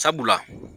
Sabula